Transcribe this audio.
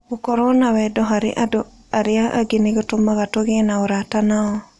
Gũkorũo na wendo harĩ andũ arĩa angĩ nĩ gũtũmaga tũgĩe na ũrata nao.